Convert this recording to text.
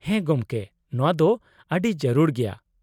-ᱦᱮᱸ, ᱜᱚᱢᱠᱮ ᱾ ᱱᱚᱶᱟ ᱫᱚ ᱟᱹᱰᱤ ᱡᱟᱹᱨᱩᱲ ᱜᱮᱭᱟ ᱾